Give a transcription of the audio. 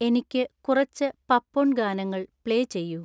എനിക്ക് കുറച്ച് പപ്പൊൺ ഗാനങ്ങൾ പ്ലേ ചെയ്യൂ